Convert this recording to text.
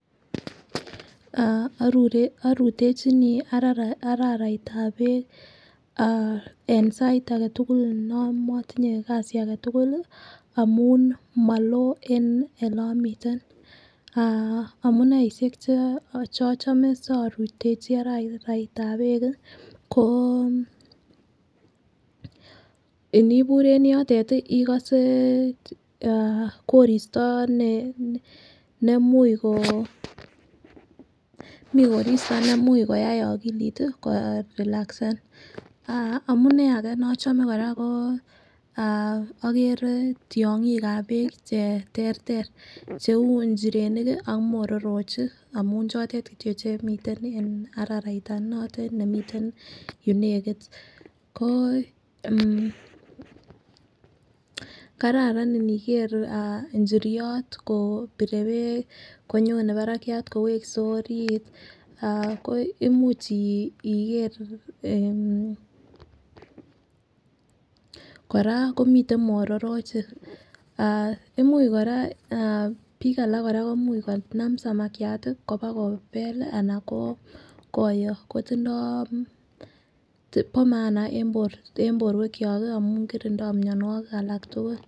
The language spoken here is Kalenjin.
Ah orutechinii araraitab beek ah en sait agetukul yon motinye kasi agetukul lii amun moloo en olemiten ah amuneishek cheochome sorutechi araraitab beek kii ko inibur en yotet tii ikose ikose en koristo en nemuche ko mii koristo nemuch koyai okili tii korilasen. Ah amunee age nochome ah okere tyongik ab beek cheterter cheu nchirenik ki ak mororochik amun chotet kityok chemiten en araraitab notet nemiten yunekit ko en kararan niker inchiriot kopire beek konyone akoi barakiat, kowekse orit ako imuch iker ah . Koraa komiten mororochik ah imii Koraa ah bik alak komuch konam samakiat tii koba kobel lii ana koyoo kotindo bo maana en borto en borwek kyok kii amun korindo mionwokik alak tukuk.